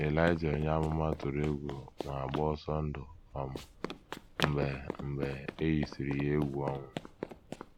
Ịlaịja onye amụma tụrụ egwu ma gbaa ọsọ ndụ um mgbe mgbe e yisịrị ya egwu ọnwụ.